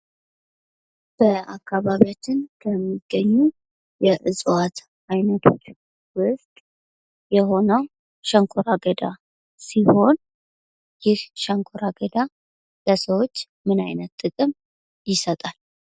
በአካባቢያችን ከሚገኙ የእፅዋት አይነቶች ውስጥ የሆነው ሸንኮራ አገዳ ሲሆን ይኽ ሸንኮራ አገዳ ለሰዎች ምን አይነት ጥቅም ይሰጣል?